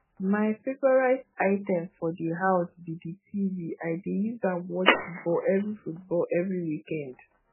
my favourite item for di house be di tv i dey use am watch football every football every weekned